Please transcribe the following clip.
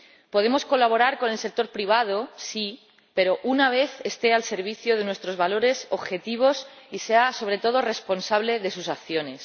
Podemos colaborar con el sector privado, sí, pero una vez esté al servicio de nuestros valores y objetivos y sea, sobre todo, responsable de sus acciones.